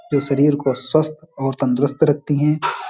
ये शरीर को स्वस्थ और तंदुरुस्त रखती हैं।